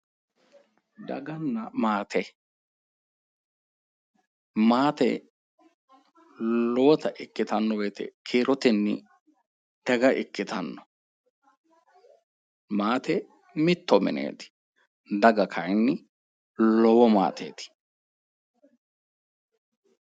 Daganna maate, maate lowotta ikkittano woyte kiiroteni daga ikkittano ,maate mitto mineti ,daga kayinni lowo maateti